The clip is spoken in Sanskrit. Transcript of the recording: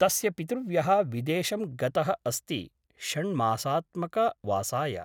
तस्य पितृव्यः विदेशं गतः अस्ति षण्मासात्मकवासाय ।